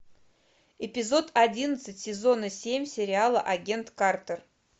эпизод одиннадцать сезона семь сериала агент картер